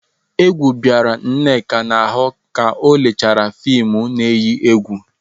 Egwu bịara Nneka n'ahụ ka o lechara fịmụ na-eyi egwu.